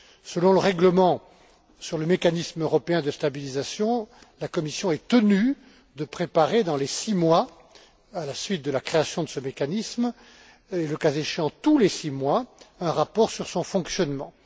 Selon le règlement sur le mécanisme européen de stabilisation, la Commission est tenue de préparer dans les six mois, à la suite de la création de ce mécanisme et, le cas échéant, tous les six mois, un rapport sur son fonctionnement.